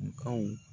Kaw